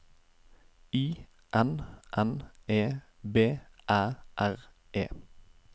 I N N E B Æ R E